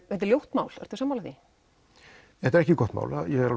þetta er ljótt mál ertu sammála því þetta er ekki gott mál ég er